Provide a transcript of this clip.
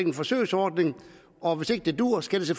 en forsøgsordning og hvis ikke det duer skal det